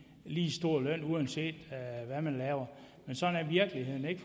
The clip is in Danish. lige stor løn uanset hvad man laver men sådan er virkeligheden ikke